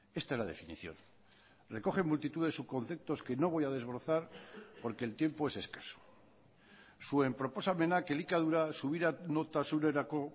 esta es la definición recoge multitud de subconceptos que no voy a desbrozar porque el tiempo es escaso zuen proposamenak elikadura subiranotasunerako